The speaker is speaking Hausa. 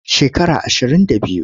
Shekara ashirin da biyu.